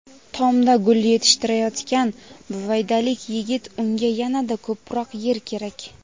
Tomda gul yetishtirayotgan buvaydalik yigit: unga yanada ko‘proq yer kerak.